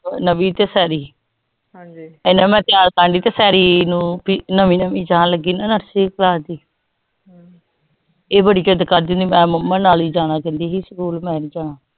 ਨਵੀ ਤੇ ਸ਼ੇਰੀ ਏਨਾ ਮੈਂ ਚਾਰ ਪੰਜ ਸ਼ੇਰੀ ਨੂੰ ਨਵੀ ਨਵੀ ਜਾਨ ਲਗੀ ਏਹ ਬੜੀ ਜਿਦ ਕਰਦੀ ਮੈਂ ਮੁਮੀ ਨਾਲ ਹੀ ਜਾਣਾ ਕਹਿੰਦੀ ਸਕੂਲ ਮੈਂ ਨੀ ਜਾਣਾ